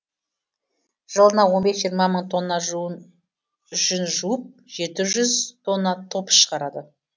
жылына он бес жиырма мың тонна жүн жуып жеті жүз тонна топс шығарады